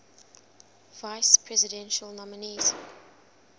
vice presidential nominees